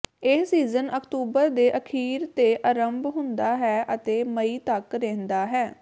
ਇਹ ਸੀਜ਼ਨ ਅਕਤੂਬਰ ਦੇ ਅਖ਼ੀਰ ਤੇ ਅਰੰਭ ਹੁੰਦਾ ਹੈ ਅਤੇ ਮਈ ਤਕ ਰਹਿੰਦਾ ਹੈ